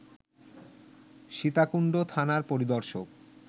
সীতাকুণ্ড থানার পরিদর্শক